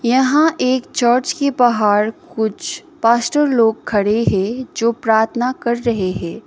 यहां एक चर्च के बाहर कुछ पास्टर लोग खड़े है जो प्रार्थना कर रहे है।